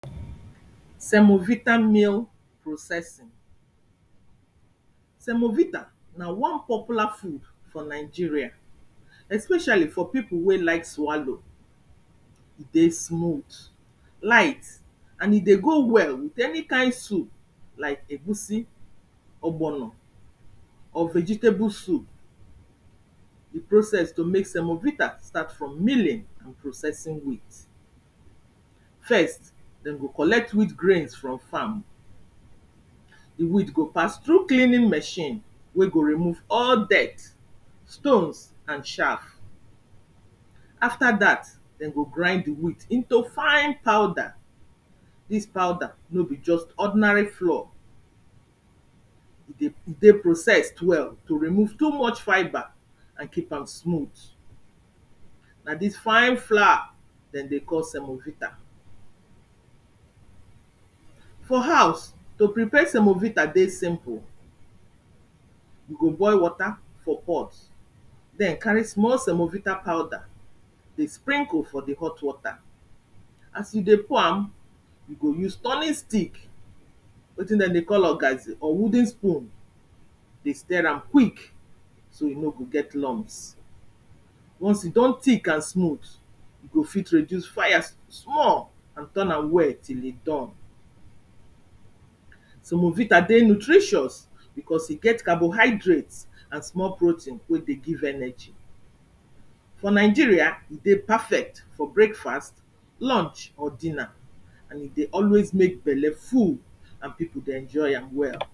semovita meal processing. Semovita, na one popular food for Nigeria, especially for people wey like swallow. E dey smooth, light and e dey go well with any kind soup like egusi, ogbono or vegetable soup. De process to make semovita start from milling and processing wheat. First, dem go collect wheat grains from farm, de wheat go pass through cleaning machine wey go remove all dirt, stones and chaff. After dat, dem go grind de wheat into fine powder, dis powder no be just ordinary floor, e dey processed well to remove too much fibre and keep am smooth. Na dis fine flour dem dey call semovita. For house, to prepare semovita dey simple. You go boil water for pot, then carry small semovita powder dey sprinkle for de hot water, as you dey pour am, you go use turning stick, wetin dem dey call ogazi or wooden spoon dey stir am quick so e no go get lumps. Once e don thick and smooth, you go fit reduce fire small and turn am well till e done. Semovita dey nutritious, because e get carbohydrate and small protein wey dey give energy. For Nigeria, e dey perfect for breakfast, lunch or dinner and e dey always make belle full and people dey enjoy am well.